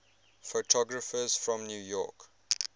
photographers from new york